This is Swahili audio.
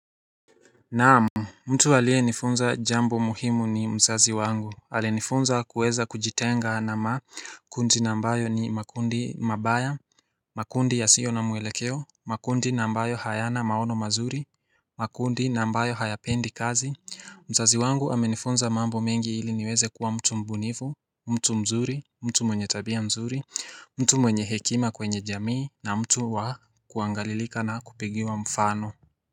Naam, mtu alie nifunza jambo muhimu ni mzazi wangu, alinifunza kuweza kujitenga na makundi nambayo ni makundi mabaya, makundi yasiyo na mwelekeo, makundi nambayo hayana maono mazuri, makundi nambayo hayapendi kazi, mzazi wangu amenifunza mambo mengi ili niweze kuwa mtu mbunifu, mtu mzuri, mtu mwenye tabia mzuri, mtu mwenye hekima kwenye jamii, na mtu wa kuangalilika na kupigiwa mfano.